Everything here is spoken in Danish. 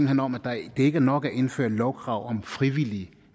hen om at det ikke er nok at indføre et lovkrav om frivillige